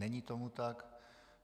Není tomu tak.